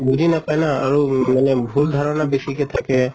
বুজি নাপায় ন আৰু মানে ভুল ধাৰণা বেছিকে থাকে